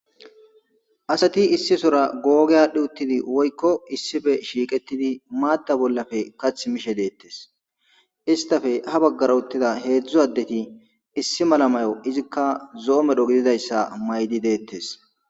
asati issi sora googi aadhdhi uttidi woykko issife shiiqettidi maatta bollafe kathi mishe deettes istafe ha baggara uttida heedzdzu addeti issi mala mayo izikka zo7o medho gididayssa maydi deettes